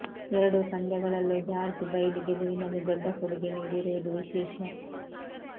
ಎರಡೂ ಪಂದ್ಯಗಳಲ್ಲೂ George Bailey ಗೆಲುವಿನಲ್ಲಿ ದೊಡ್ಡ ಕೊಡುಗೆ ನೀಡಿರುವುದು ವಿಶೇಷ